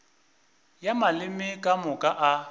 ya maleme ka moka a